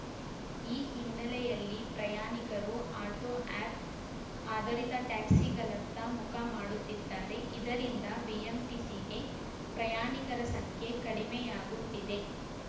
ಈ ಹಿನ್ನೆಲೆಯಲ್ಲಿ ಪ್ರಯಾಣಿಕರು ಆಟೋ ಆ್ಯಪ್‌ ಆಧಾರಿತ ಟ್ಯಾಕ್ಸಿಗಳತ್ತ ಮುಖ ಮಾಡುತ್ತಿದ್ದಾರೆ ಇದರಿಂದ ಬಿಎಂಟಿಸಿಗೆ ಪ್ರಯಾಣಿಕರ ಸಂಖ್ಯೆ ಕಡಿಮೆಯಾಗುತ್ತಿದೆ